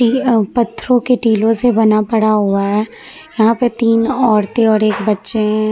पत्थरों के टींलो से बना पड़ा हुआ है यहाँ पे तीन औरतें और एक बच्चे हैं।